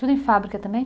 Tudo em fábrica também?